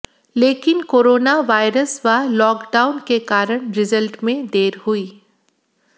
लेकिन corona virus व lockdown के कारण रिजल्ट में देर हुई